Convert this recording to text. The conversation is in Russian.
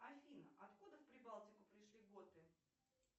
афина откуда в прибалтику пришли готы